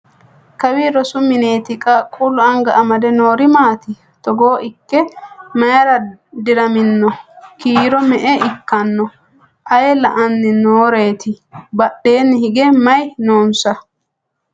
Kawi rosu minnetti? Qaaqullu anga amade noori maati? Togo ikke mayiira diramminno? Kiiro me'e ikkanno? Ayii la'anni nooreetti? Badheenni hige may noonsa?